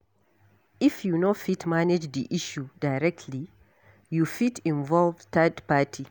If you no fit manage di issue directly, you fit involve third party